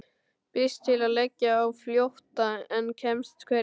Býst til að leggja á flótta en kemst hvergi.